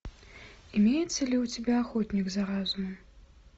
имеется ли у тебя охотник за разумом